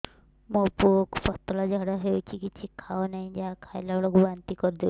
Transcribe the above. ମୋ ପୁଅ କୁ ପତଳା ଝାଡ଼ା ହେଉଛି କିଛି ଖାଉ ନାହିଁ ଯାହା ଖାଇଲାବେଳକୁ ବାନ୍ତି କରି ଦେଉଛି